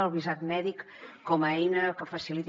el visat mèdic com a eina que faciliti